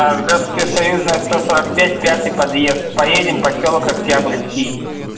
здравствуйте союзная сто сорок пять пятый подъезд поедем посёлок октябрьский